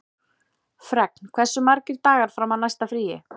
Fregn, hversu margir dagar fram að næsta fríi?